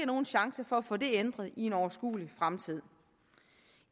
nogen chance for at få det ændret inden for en overskuelig fremtid